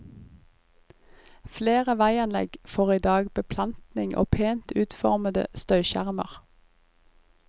Flere veianlegg får i dag beplantning og pent utformede støyskjermer.